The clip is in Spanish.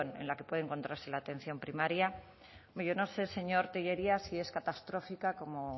en la que puede encontrarse la atención primaria hombre yo no sé señor tellería si es catastrófica como